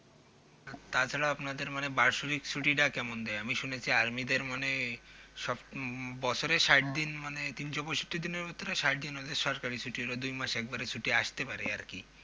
তাছাড়া আপনাদের মানে বাৎসরিক ছুটিটা কেমন দেয় আমি শুনেছি Army দের মানে উম বছরে ষাট দিন মানে তিনশপয়ষট্টি দিনের ভেতরে ষাট দিন ওদের সরকারি ছুটি ওরা দুই মাস একবারে ছুটি আসতে পারে আরকি